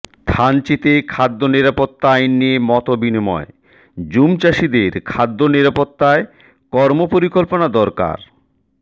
থানচিতে খাদ্যনিরাপত্তা আইন নিয়ে মতবিনিময় জুমচাষিদের খাদ্যনিরাপত্তায় কর্মপরিকল্পনা দরকার